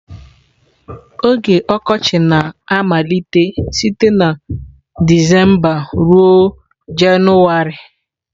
Oge Okochị na-amalite site na Disemba ruo Jenụwarị.